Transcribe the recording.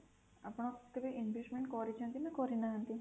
ଆପଣ କେବେ investment କରିଛନ୍ତି ନା କରିନାହାନ୍ତି?